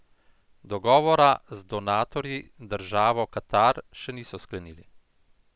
Dogovora z donatorji, državo Katar, še niso sklenili.